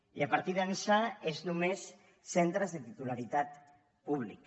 i a partir d’ençà són només centres de titularitat pública